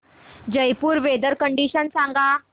Jaipur weather condition सांगा